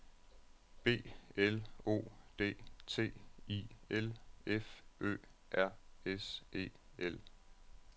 B L O D T I L F Ø R S E L